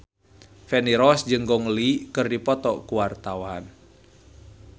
Feni Rose jeung Gong Li keur dipoto ku wartawan